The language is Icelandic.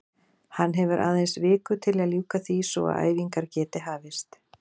Hann hefur aðeins viku til að ljúka því svo að æfingar geti hafist.